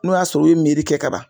N'o y'a sɔrɔ u ye kɛ ka ban.